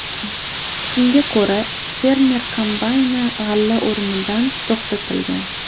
Shunga ko‘ra, fermer kombayni g‘alla o‘rimidan to‘xtatilgan.